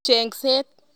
Chengset.